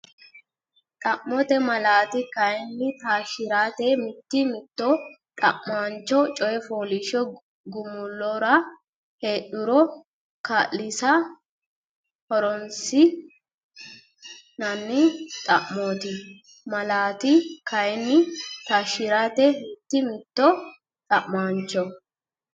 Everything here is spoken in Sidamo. Xa mote malaati kayinni Taashshi rate mitii mitanno Xa maancho coy fooliishsho gumulora heedhuro kaa linsa horoonsi nanni Xa mote malaati kayinni Taashshi rate mitii mitanno Xa maancho.